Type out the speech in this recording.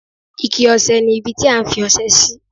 Ike ọṣẹ ni ibi tí a ń fi ọṣẹ sí.